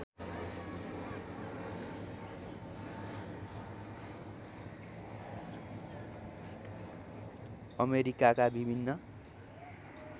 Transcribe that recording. अमेरिकाका विभिन्न